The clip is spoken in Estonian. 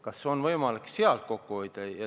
Kas on võimalik sealt kokku hoida?